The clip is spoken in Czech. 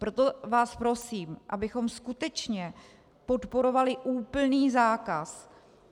Proto vás prosím, abychom skutečně podporovali úplný zákaz.